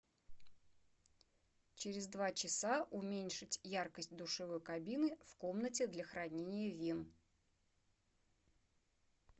через два часа уменьшить яркость душевой кабины в комнате для хранения вин